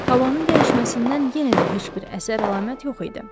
Havanın dəyişməsindən yenə də heç bir əsər-əlamət yox idi.